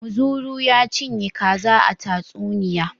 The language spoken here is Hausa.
Muzuru ya cinye kaza a tatsuniya.